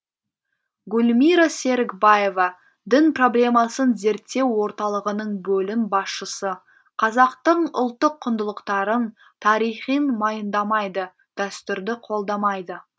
гүлмира серікбаева дін проблемасын зерттеу орталығының бөлім басшысы қазақтың ұлттық құндылықтарын тарихын мойындамайды дәстүрді қолдамайды